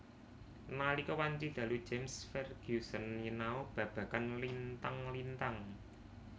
Nalika wanci dalu James Ferguson nyinau babagan lintang lintang